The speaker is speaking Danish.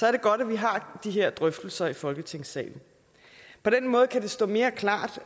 er det godt at vi har de her drøftelser i folketingssalen på den måde kan det stå mere klart